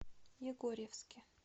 егорьевске